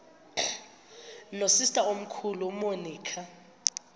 nosister omkhulu umonica